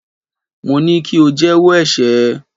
Mo ní kí o jẹ́wọ́ ẹ̀ṣẹ̀ ẹ.!